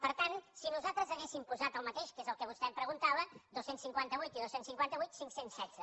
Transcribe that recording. per tant si nosaltres haguéssim posat el mateix que és el que vostè em preguntava dos cents i cinquanta vuit i dos cents i cinquanta vuit cinc cents i setze